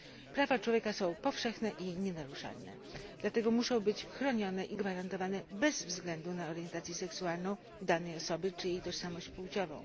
Prawa człowieka są powszechne i nienaruszalne, dlatego muszą być chronione i gwarantowane bez względu na orientację seksualną danej osoby czy jej tożsamość płciową.